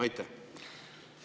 Aitäh!